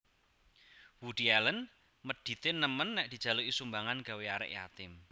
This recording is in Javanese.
Woody Allen medit e nemen nek dijaluki sumbangan gawe arek yatim